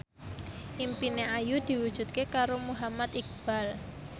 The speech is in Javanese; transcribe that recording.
impine Ayu diwujudke karo Muhammad Iqbal